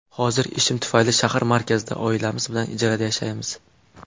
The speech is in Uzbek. Hozir ishim tufayli shahar markazida oilamiz bilan ijarada yashaymiz.